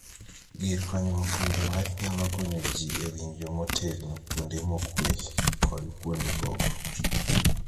Gir konyruok winjo wach nyalo konyo jii e winjo motegno kuonde mokwe kod kuonde koko.